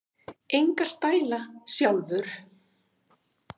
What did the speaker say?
Enga stæla, sjálfur!